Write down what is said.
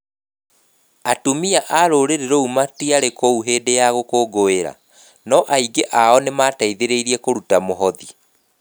Atumia a rũrĩrĩ rũu matiarĩ kuo hĩndĩ ĩyo ya gũkũngũĩra, no aingĩ ao nĩ mateithĩrĩirie kũruta mũhothi.